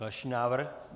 Další návrh.